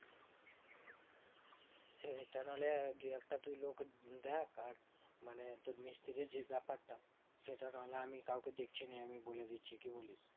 সেইটা না হলে তুই দুই একটা লোক দেখ আর মানে তোর মিস্ত্রির যেই ব্যাপারটা সেটা না হলে আমি কাওকে দেখছি নিয়ে বলে দিচ্ছি কি বলিস